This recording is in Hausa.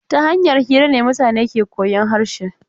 Ta hanyar hira ne mutane ke koyan harshe.